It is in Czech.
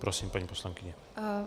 Prosím, paní poslankyně.